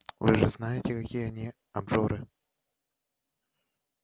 вы же знаете какие они обжоры